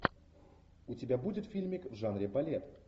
у тебя будет фильмик в жанре балет